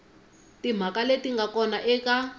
timhaka leti nga kona eka